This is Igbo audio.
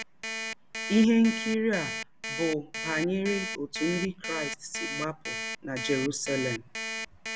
Ihe nkiri a bụ banyere ọtụ Ndị Krịsti si gbapụ na Jerụselem.